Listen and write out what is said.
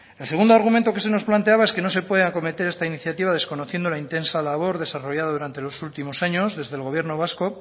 el segundo argumento que se nos planteaba es que no se puede acometer esta iniciativa desconociendo la intensa labor desarrollado durante los últimos años desde el gobierno vasco